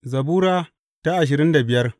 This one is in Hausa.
Zabura Sura ashirin da biyar